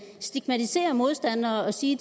stigmatisere modstanderne og sige